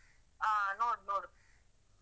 ಹ, ನೋಡು ನೋಡು.